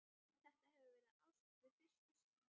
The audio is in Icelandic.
Þetta hefur verið ást við fyrstu sýn.